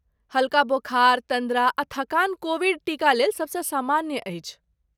हल्का बोखार, तन्द्रा, आ थकान कोविड टीकालेल सबसँ सामान्य अछि।